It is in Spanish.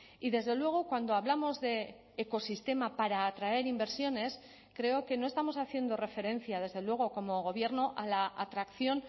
y desde luego cuando hablamos de ecosistema para atraer inversiones creo que no estamos haciendo referencia desde luego como gobierno a la atracción